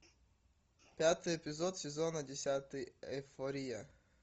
пятый эпизод сезона десятый эйфория